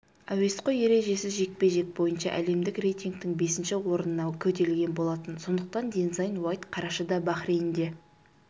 әуесқой ережесіз жекпе-жек бойынша әлемдік рейтингтің бесінші орнына көтерілген болатын сондықтан дензайн уайт қарашада бахрейнде